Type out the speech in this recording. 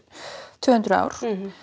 tvö hundruð ár